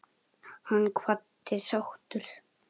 Hann kvaddi sáttur.